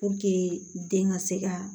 den ka se ka